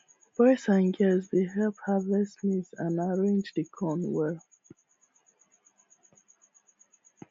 boys and girls dey help harvest maize and arrange the corn well